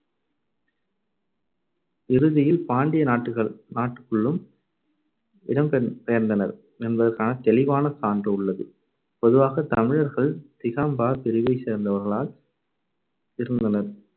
இறுதியில் பாண்டிய நாட்டுகள்~ நாட்டுக்குள்ளும் இடம் பெயர்~பெயர்ந்தனர் என்பதற்கான தெளிவான சான்று உள்ளது. பொதுவாகத் தமிழர்கள் திகம்பரர் பிரிவைச் சேர்ந்தவர்களாய் இருந்தனர்.